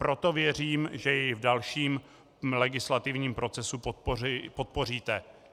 Proto věřím, že jej v dalším legislativním procesu podpoříte.